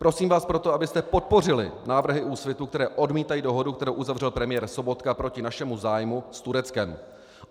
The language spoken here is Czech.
Prosím vás proto, abyste podpořili návrhy Úsvitu, které odmítají dohodu, kterou uzavřel premiér Sobotka proti našemu zájmu s Tureckem.